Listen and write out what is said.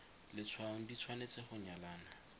letshwaong di tshwanetse go nyalana